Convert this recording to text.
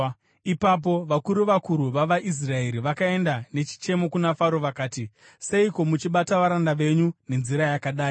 Ipapo vakuru vakuru vavaIsraeri vakaenda nechichemo kuna Faro vakati, “Seiko muchibata varanda venyu nenzira yakadai?